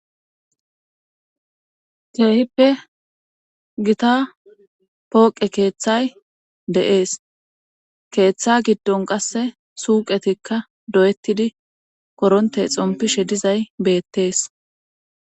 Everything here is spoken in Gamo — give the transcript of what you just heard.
Keehippe gita pooqe keeththay deees. keeththa giddon qasse tuuqetikka doyettidi koronte xompishe dizay beettees.